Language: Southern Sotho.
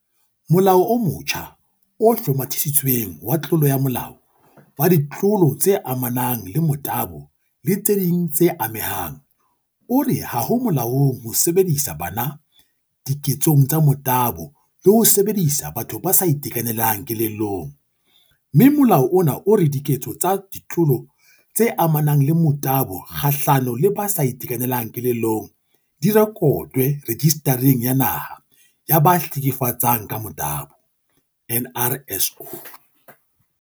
Molao o motjha o Hlomathisitsweng wa Tlolo ya molao, wa Ditlolo tse amanang le Motabo le tse ding tse Amehang, o re ha ho molaong ho sebedisa bana diketsong tsa motabo le ho sebedisa batho ba sa itekanelang kelellong, mme molao ona o re diketso tsa ditlolo tse amanang le motabo kgahlano le ba sa itekanelang kelellong di rekotwe Rejista reng ya Naha ya ba Hleke fetsang ka Motabo, NRSO.